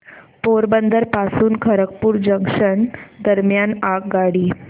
पोरबंदर पासून खरगपूर जंक्शन दरम्यान आगगाडी